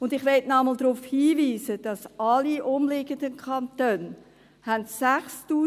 Und ich möchte noch einmal darauf hinweisen, dass alle umliegenden Kantone 6000 Franken haben.